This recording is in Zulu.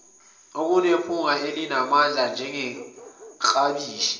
okunephunga elinamandla njengeklabishi